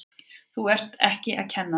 Þú ert ekki að kenna núna!